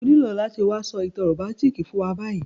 O nílo láti wa so ìtàn romantic fún wa bayi